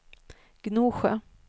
Gnosjö